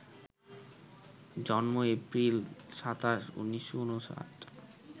জন্ম এপ্রিল ২৭, ১৯৫৯